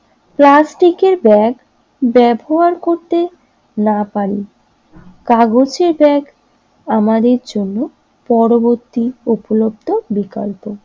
প্লাস্টিকের ব্যাগ ব্যবহার করতে না পারি কাগজের ব্যাগ আমাদের জন্য উপলব্ধ বিকল্প।